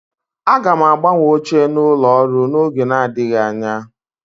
Aga m agbanwe oche n'ụlọ ọrụ n'oge adịghị anya